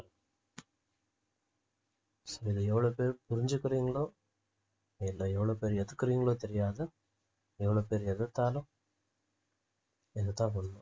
இது எவ்ளோ பேர் புரிஞ்சுகிறிங்களோ என்ன எவ்ளோ பேர் ஏத்துகிறீங்களோ தெரியாது எவ்ளோ பேர் எதிர்த்தாலும் இதுதான் உண்மை